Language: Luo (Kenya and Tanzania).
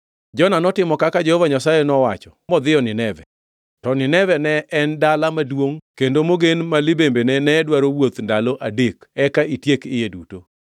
Jona notimo kaka Jehova Nyasaye nowacho modhiyo Nineve. To Nineve ne en dala maduongʼ kendo mogen ma limbene ne dwaro wuoth ndalo adek eka itiek iye duto.